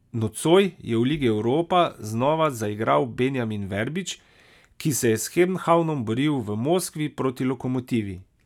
Nocoj je v ligi europa znova zaigral Benjamin Verbič, ki se je s Kobenhavnom boril v Moskvi proti Lokomotivi.